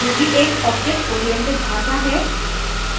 ruby एक object oriented भाषा है